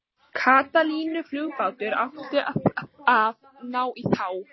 Katalínuflugbátur átti að ná í þá.